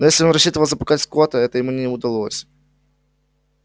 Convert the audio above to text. но если он рассчитывал запугать скотта это ему не удалось